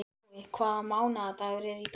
Glói, hvaða mánaðardagur er í dag?